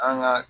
An ka